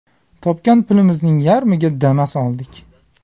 Topgan pulimizning yarmiga Damas oldik.